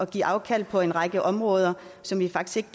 give afkald på en række områder som vi faktisk